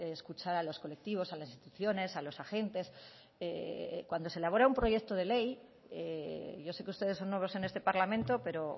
escuchar a los colectivos a las instituciones a los agentes cuando se elabora un proyecto de ley yo sé que ustedes son nuevos en este parlamento pero